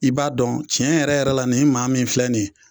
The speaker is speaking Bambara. I b'a dɔn tiɲɛ yɛrɛ yɛrɛ la nin maa min filɛ nin ye.